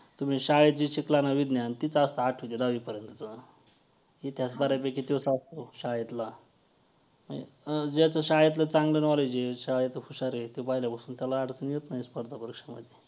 तुम्ही शाळेत जे शिकला ना विज्ञान तेच असतं आठवी ते दहावीपर्यंत इतिहास बऱ्यापैकी तोच असतो शाळेतला ज्याचं शाळेतलं चांगलं knowledge आहे जो शाळेत हुशार आहे पहिल्यापासून त्याला अडचण येत नाही स्पर्धा परीक्षेमध्ये